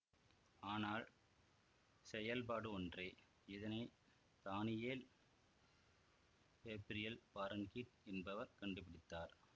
ஆனால் செயல்பாடு ஒன்றே இதனை தானியேல் கேப்ரியல் பார்ன்கீட் என்பவர் கண்டுபிடித்தார்